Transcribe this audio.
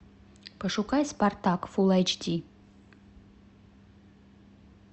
пошукай спартак фулл эйч ди